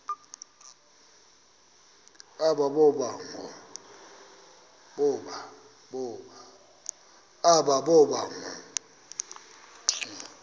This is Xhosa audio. aba boba ngoo